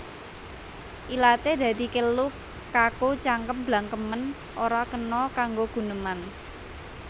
Ilaté dadi kelu kaku cangkem blangkemen ora kena kanggo guneman